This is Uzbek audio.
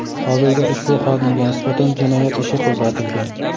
Hozirda ushbu xodimga nisbatan jinoyat ishi qo‘zg‘atilgan.